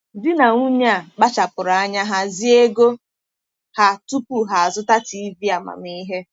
Di na nwunye a kpachapụrụ anya hazie ego ha tupu ha azụta TV amamihe.